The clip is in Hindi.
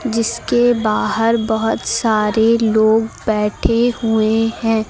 जिसके बाहर बहुत सारे लोग बैठे हुए हैं।